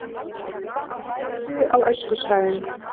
Von á vætu á öskusvæðum